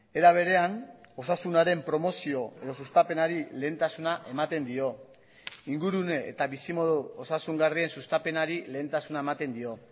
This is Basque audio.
era berean osasunaren promozio edo sustapenari lehentasuna ematen dio ingurune eta bizimodu osasungarrien sustapenari lehentasuna ematen dio